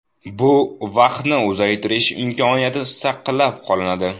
Bu vaqtni uzaytirish imkoniyati saqlab qolinadi.